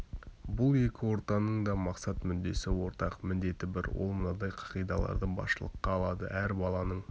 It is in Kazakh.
бұл екі ортаның да мақсат мүддесі ортақ міндеті бір ол мынадай қағидаларды басшылыққа алады әр баланың